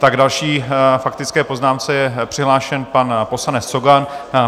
K další faktické poznámce je přihlášen pan poslanec Cogan.